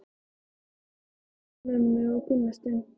Hann leit á Hönnu-Mömmu og Gunnstein.